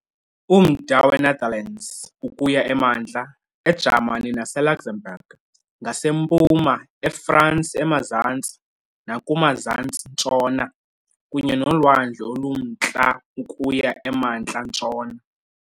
Umda weNetherlands ukuya emantla, eJamani naseLuxembourg ngasempuma, eFransi emazantsi nakumazantsi-ntshona kunye noLwandle oluMntla ukuya emantla-ntshona .